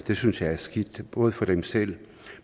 det synes jeg er skidt både for dem selv